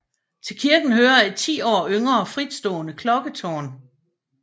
Til kirken hører et ti år yngre fritstående klokketårn